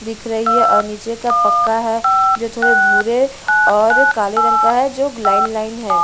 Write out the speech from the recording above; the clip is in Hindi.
दिख रही है और नीचे का पक्का है जो थोड़े भूरे और काले रंग का है जो लाइन लाइन है।